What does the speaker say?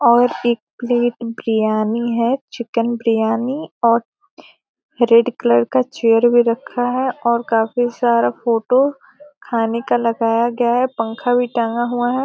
और एक प्लेट बिरयानी है चिकन बिरयानी और रेड कलर का चेयर भी रखा है और काफी सारा फोटो खाने का लगाया है पंखा भी टंगा हुआ है।